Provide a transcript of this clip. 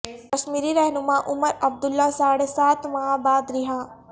کشمیری رہنما عمر عبداللہ ساڑھے سات ماہ بعد رہا